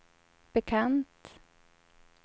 bekant